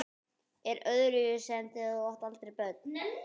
Er það öðruvísi en þegar þú áttir eldri börnin?